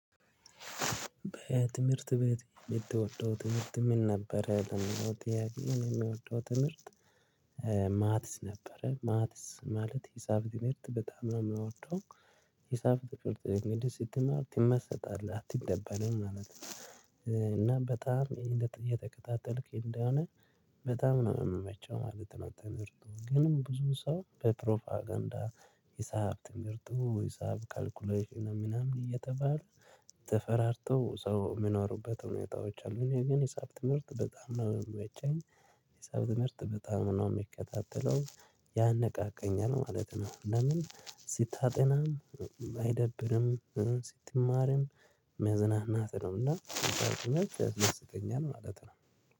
በትምህርት ቤት የምትወደው ትምህርት ምን ነበረ ለሚለው ጥያቄ የሚወደው ትምህርት? ማትስ ነበረ ማትስ ማለት የሂሳብ ትምህርት በጣም ነው የምንወደው። የሂሳብ ትምህርት እንግዲህ ስትማር ትመሰጣለህ አትደበርም ማለት ነው። እና በጣም እየተከታተልክ እንደሆነ በጣም ነው የሚመቸው ማለት ነው። ትምህርቱ ግን ብዙ ሰው በፕሮፓጋንዳ ሂሳብ ትምህርቱ ሂሳብ ካልኩሌሽን ምናምን እየተባለ ተፈራርቶ ሰው የምኖሩበት ሁኔታዎች አሉኝ እኔ ግን ሂሳብ ትምህርት በጣም ነው የሚመቸኝ። ሂሳብ ትምህርት በጣም ነው የሚከታተለው ያነቃቃኛል ማለት ነው። ለምን ሲታጠናም ስትማርም መዝናናት ነውና ሂሳብ ትምህርት ያስመስገኛል ማለት ነው